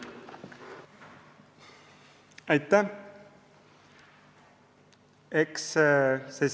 Aitäh!